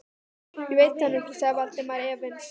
Ég veit það nú ekki sagði Valdimar efins.